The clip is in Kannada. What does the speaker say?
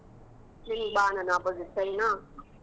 ನೀನ್ ಬಾ ನನ್ opposite , ಸರಿನಾ?